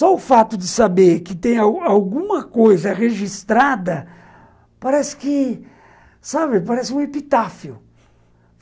Só o fato de saber que tem alguma alguma coisa registrada, parece que, sabe, parece um epitáfio.